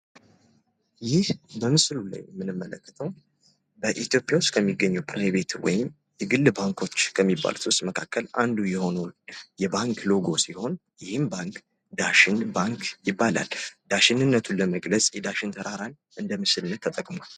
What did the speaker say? ይህ በምስሉ ላይ የምንመለከተው በኢትዮጵያ ውስጥ ከሚገኙት የግል ባንኮች መካከል አንዱ የሆነውን የባንክ ሎጎ ሲሆን ይህም ባንክ ዳሽን ባንክ ይባላል። ዳሽንነቱን ለመግለጽ የዳሽን ተራራን እንደ ምስልነት ተጠቅሟል።